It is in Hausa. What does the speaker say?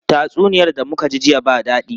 Tatsuniyar da muka ji jiya ba dadi.